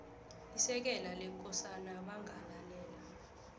isekela lekosana bangalalela